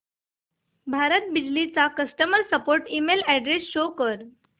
भारत बिजली चा customer support email address show कर